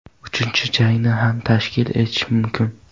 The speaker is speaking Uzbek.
Uchinchi jangni ham tashkil etish mumkin.